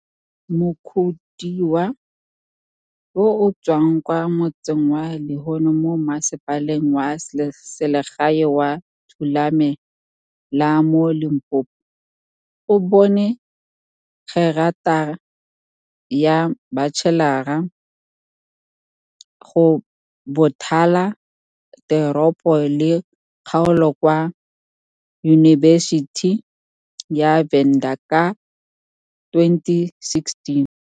Mukhodiwa, yo o tswang kwa motseng wa Luheni mo Mmasepaleng wa Selegae wa Thulame la mo Limpopo, o bone gerata ya batšhelara go Bothala Teropo le Kgaolo kwa Yunibesithing ya Venda ka 2016.